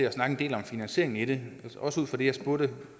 at snakke en del om finansieringen i det også ud fra det jeg spurgte